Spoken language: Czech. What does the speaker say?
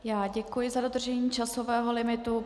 Já děkuji za dodržení časového limitu.